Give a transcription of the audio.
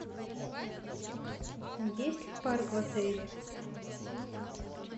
есть ли парк в отеле